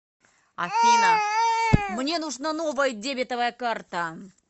афина мне нужна новая дебетовая карта